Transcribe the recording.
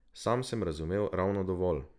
Sam sem razumel ravno dovolj.